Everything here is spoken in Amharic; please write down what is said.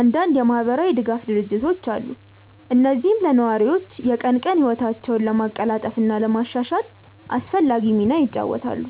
አንዳንድ የማህበራዊ ድጋፍ ድርጅቶች አሉ፣ እነዚህም ለነዋሪዎች የቀን ቀን ህይወታቸውን ለማቀላጠፍ እና ለማሻሻል አስፈላጊ ሚና ይጫወታሉ።